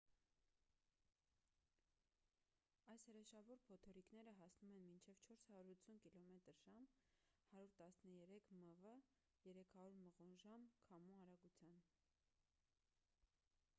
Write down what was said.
այս հրեշավոր փոթորիկները հասնում են մինչև 480 կմ/ժամ 133 մ/վ 300 մղոն/ժամ քամու արագության: